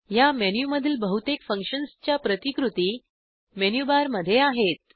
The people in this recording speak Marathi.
ह्या मेनूमधील बहुतेक फंक्शन्सच्या प्रतिकृती मेनू बारमध्ये आहेत